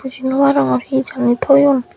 buji nw parongor he jani thoyun.